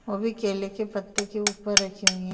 वो भी केले के पत्ते के ऊपर रखी हुईं --